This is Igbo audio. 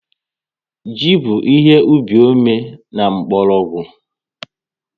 Ji bụ ihe ubi ome and mkpọrọgwụ